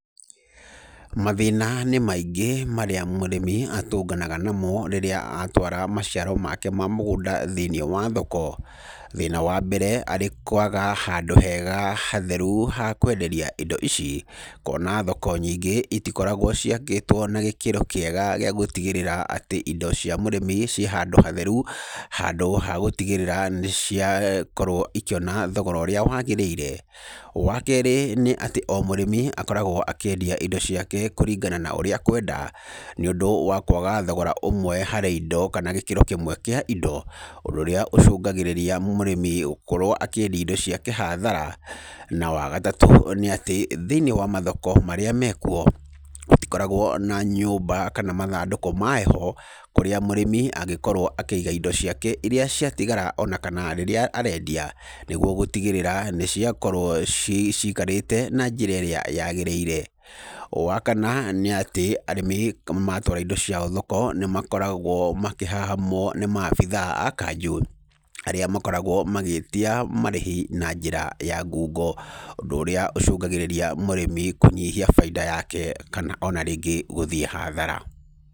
Mathĩna nĩ maingĩ marĩa mũrĩmi atũnganaga namo rĩrĩa atwara maciaro make ma mũgũnda thĩiniĩ wa thoko. Thĩna wa mbere, arĩ kwaga handũ hega hatheru ha kwenderia indo ici. Kuona thoko nyingĩ itikoragwo ciakĩtwo na gĩkĩro kĩega gĩa gũtigĩrĩra atĩ indo cia mũrĩmi ciĩ handũ hatheru, handũ ha gũtigĩrĩra nĩciakorwo ikĩona thogora ũrĩa wagĩrĩire. Wa kerĩ, nĩ atĩ o mũrĩmi akoragwo akĩendia indo ciake kũringana na ũrĩa akwenda, nĩũndũ wa kwaga thogora ũmwe harĩ indo, kana gĩkĩro kĩmwe kĩa indo ũndũ ũrĩa ũcũngagĩrĩria mũrĩmi gũkorwo akĩendia indo ciake hathara. Na wa gatatũ, nĩ atĩ thĩiniĩ wa mathoko marĩa mekuo gũtikoragwo na nyũmba kana mathandũkũ ma heho kũrĩa mũrĩmi angĩkorwo akĩiga indo ciake irĩa ciatigara, ona kana rĩrĩa arendia nĩguo gũtigĩrĩra nĩciakorwo cikarĩte na njĩra ĩrĩa yagĩrĩire. Wa kana, nĩ atĩ arĩmi matwara indo ciao thoko nĩmakoragwo makĩhahamwo nĩ maabithaa a kanjũ, arĩa makoragwo magĩtia marĩhi na njĩra ya ngungo, ũndũ ũrĩa ũcũngagĩrĩria mũrĩmi kũnyihia bainda yake, kana ona rĩngĩ gũthiĩ hathara.